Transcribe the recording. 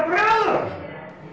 Braga